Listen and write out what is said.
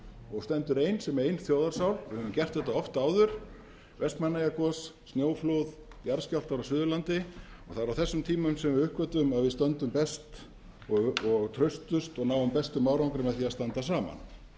og stendur ein sem ein þjóðarsál við höfum gert þetta oft áður vestmannaeyjagos snjóflóð jarðskjálftar á suðurlandi og það er á þessum tímum sem við uppgötvum að við stöndum best og traustust og náum bestum árangri með því að standa saman þess